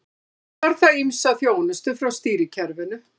Þá þarf það ýmsa þjónustu frá stýrikerfinu.